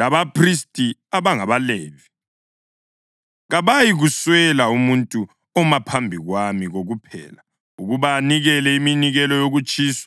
labaphristi, abangabaLevi, kabayikuswela umuntu oma phambi kwami kokuphela ukuba anikele iminikelo yokutshiswa,